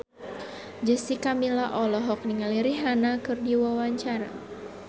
Jessica Milla olohok ningali Rihanna keur diwawancara